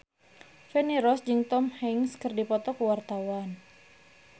Feni Rose jeung Tom Hanks keur dipoto ku wartawan